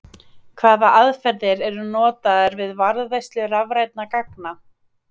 Hvaða aðferðir eru notaðar við varðveislu rafrænna gagna?